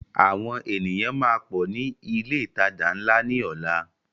Àwọn ènìyàn máa pọ ní ilé ìtajà ńlá ni ọ̀la.